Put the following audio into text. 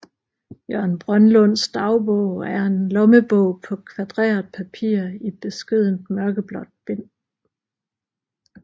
Jørgen Brønlunds dagbog er en lommebog på kvadreret papir i beskedent mørkeblåt bind